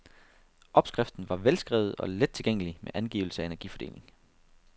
Opskriften var velskrevet og let tilgængelig med angivelse af energifordeling.